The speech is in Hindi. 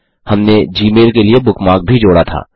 हमने जीमेल के लिए बुकमार्क भी जोड़ा था